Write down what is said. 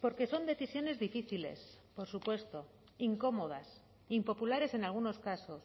porque son decisiones difíciles por supuesto incómodas impopulares en algunos casos